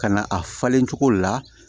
Ka na a falen cogo la